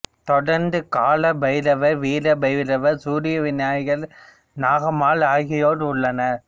தொடர்ந்து கால பைரவர் வீர பைரவர் சூரியன் விநாயகர் நாகம்மாள் ஆகியோர் உள்ளனர்